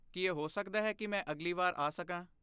ਕੀ ਇਹ ਹੋ ਸਕਦਾ ਹੈ ਕਿ ਮੈਂ ਅਗਲੀ ਵਾਰ ਆ ਸਕਾਂ?